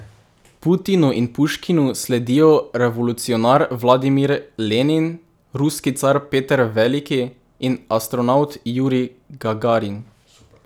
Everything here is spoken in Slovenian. Putinu in Puškinu sledijo revolucionar Vladimir Lenin, ruski car Peter Veliki in astronavt Jurij Gagarin.